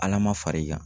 Ala ma far'i kan